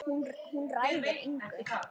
Hún ræður engu.